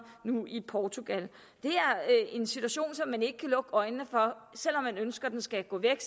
nu i portugal det er en situation som man ikke kan lukke øjnene for selv om man ønsker den skal gå væk